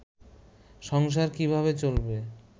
সংসার কীভাবে চলবে